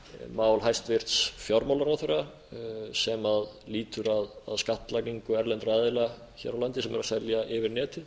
mál hæstvirtur fjármálaráðherra sem lýtur að skattlagningu erlendra aðila hér á landi sem eru að selja yfir netið